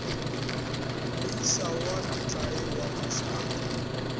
moisa wa metlae wa mašata